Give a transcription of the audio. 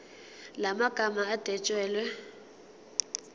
la magama adwetshelwe